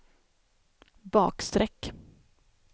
bakstreck